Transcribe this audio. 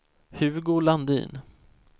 Hugo Landin